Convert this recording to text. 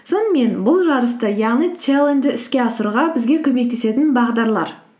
сонымен бұл жарысты яғни чалленджі іске асыруға бізге көмектесетін бағдарлар